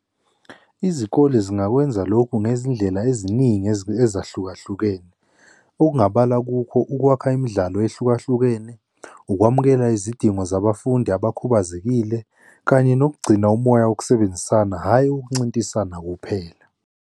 Izikole zingakwenza lokhu ngezindlela eziningi ezahlukahlukene. Okungabalula kukho ukwakha imidlalo ehlukahlukene, ukwamukela izidingo zabafundi abakhubazekile kanye nokugcina umoya wokusebenzisana, hhayi owokuncintisana kuphela.